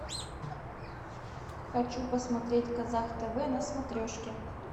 хочу посмотреть казах тв на смотрешке